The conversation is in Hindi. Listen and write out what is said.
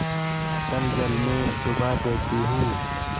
अतल जल में डुबा देती हूँ